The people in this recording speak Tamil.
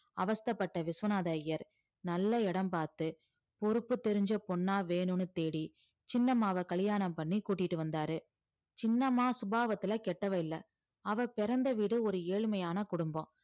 அவஸ்தைப்பட்ட விஸ்வநாத ஐயர் நல்ல இடம் பார்த்து பொறுப்பு தெரிஞ்ச பொண்ணா வேணும்னு தேடி சின்னம்மாவ கல்யாணம் பண்ணி கூட்டிட்டு வந்தாரு சின்னம்மா சுபாவத்துல கெட்டவ இல்ல அவ பிறந்த வீடு ஒரு ஏழ்மையான குடும்பம்